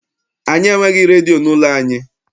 Anyị enweghị redio n'ụlọ anyị.